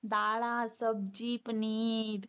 ਦਾਲਾਂ ਸਬਜ਼ੀ ਪਨੀਰ